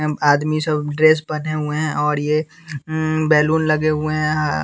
हम आदमी सब ड्रेस पहने हुए हैं और ये अह बैलून लगे हुए हैं यहां।